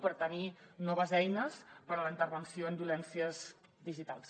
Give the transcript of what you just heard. per tenir noves eines per a la intervenció en violències digitals